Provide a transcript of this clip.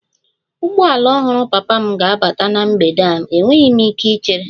Ụgbọala ọhụrụ papa m ga-abata na mgbede a, enweghị m ike ichere